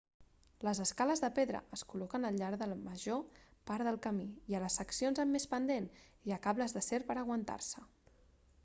les escales de pedra es col·loquen al llarg de la major part del camí i a les seccions amb més pendent hi ha cables d'acer per aguantar-se